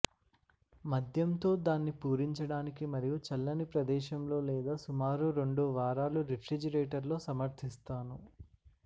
మద్యం తో దాన్ని పూరించడానికి మరియు చల్లని ప్రదేశంలో లేదా సుమారు రెండు వారాలు రిఫ్రిజిరేటర్ లో సమర్ధిస్తాను